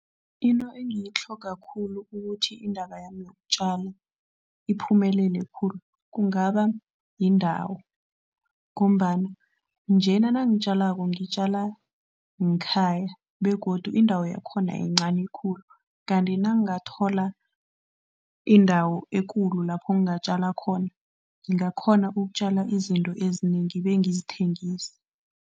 Into engiyitlhoga khulu ukuthi indaba yami yokutjala iphumelele khulu, kungaba yindawo ngombana njena nangitjalako ngitjala ngekhaya begodu indawo yakhona yincani khulu kanti nangingathola indawo ekulu lapho ngingatjala khona ngingakghona ukutjala izinto ezinengi bengizithengise.